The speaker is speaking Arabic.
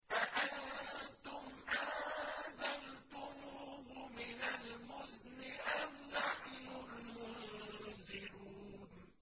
أَأَنتُمْ أَنزَلْتُمُوهُ مِنَ الْمُزْنِ أَمْ نَحْنُ الْمُنزِلُونَ